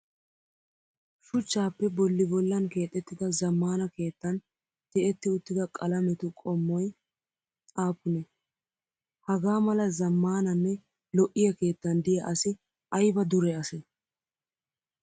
Shuchchaappe bolli bollan keexettida zammaana keettan ti'etti uttida qalametu qommoyi aappunee? Hagaa mala zammaananne lo'iyaa keettan diyaa asi ayiba dure asee?